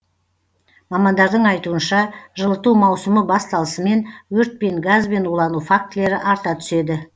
мамандардың айтуынша жылыту маусымы басталысымен өрт пен газбен улану фактілері арта түседі